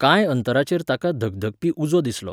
कांय अंतराचेर ताका धगधगपी उजो दिसलो.